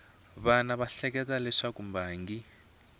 wana va ehleketa leswaku mbangi